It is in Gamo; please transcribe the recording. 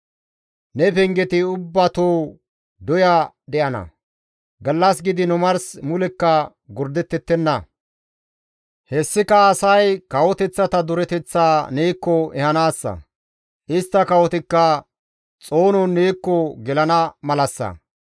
Ne pengeti ubbatoo doya de7ana; gallas gidiin omars mulekka gordettettenna; hessika asay kawoteththata dureteththaa neekko ehanaassa; istta kawotikka xoonon neekko gelana malassa.